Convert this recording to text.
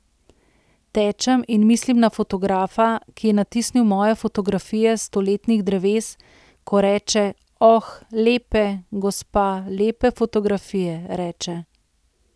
Tečem in mislim na fotografa, ki je natisnil moje fotografije stoletnih dreves, ko reče, oh, lepe, gospa, lepe fotografije, reče.